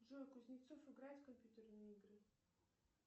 джой кузнецов играет в компьютерные игры